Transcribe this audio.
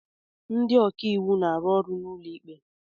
Ndị ọka iwu na-arụ ọrụ n'ụlọ ikpe